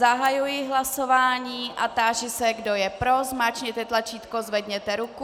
Zahajuji hlasování a táži se, kdo je pro, zmáčkněte tlačítko, zvedněte ruku.